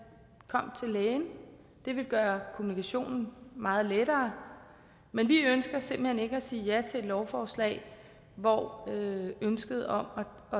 kom til lægen det ville gøre kommunikationen meget lettere men vi ønsker simpelt hen ikke at sige ja til et lovforslag hvor ønsket om at